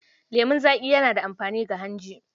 Lemon zaƙi yana da amfani ga hanji.